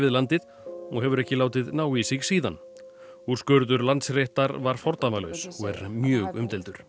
landið og hefur ekki látið ná í sig síðan úrskurður Landsréttar var fordæmalaus og er mjög umdeildur